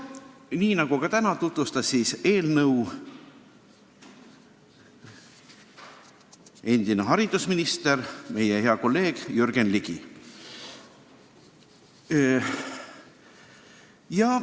Nii nagu täna, tutvustas meilegi eelnõu endine haridusminister, meie hea kolleeg Jürgen Ligi.